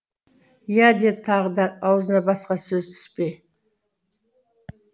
иә деді тағы да аузына басқа сөз түспей